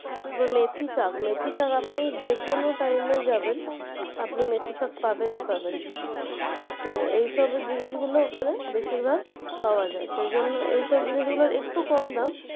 তারপরে মেথিশাঁক মেথিশাঁক আপনি যেকোনো time যাবেন আপনি মেথিশাঁক পাবেনই পাবেন তো এইসব জিনিসগুলো ওখানে বেশির ভাগ পাওয়া যায় এইসব জিনিসগুলোর একটু কম দাম